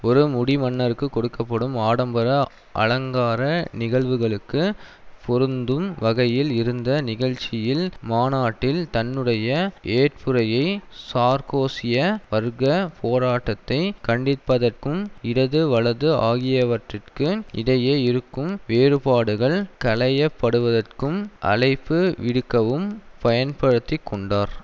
ஒரு முடிமன்னருக்கு கொடுக்க படும் ஆடம்பர அலங்கார நிகழ்வுகளுக்கு பொருந்தும் வகையில் இருந்த நிகழ்ச்சியில் மாநாட்டில் தன்னுடைய ஏற்புரையை சார்க்கோசிய வர்க்க போராட்டத்தை கண்டிப்பதற்கும் இடது வலது ஆகியவற்றிற்கு இடையே இருக்கும் வேறுபாடுகள் களையப்படுவதற்கும் அழைப்பு விடுக்கவும் பயன்படுத்தி கொண்டார்